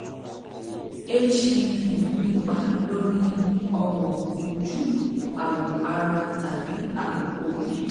hpv ń nípa lórí ọwọ ojú awọ ara tàbí awọ orí